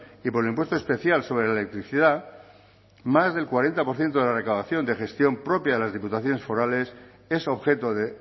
y por el impuesto especial sobre la electricidad más del cuarenta por ciento de la recaudación de gestión propia de las diputaciones forales es objeto de